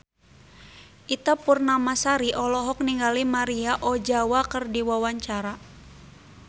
Ita Purnamasari olohok ningali Maria Ozawa keur diwawancara